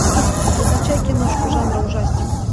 закачай киношку жанра ужастик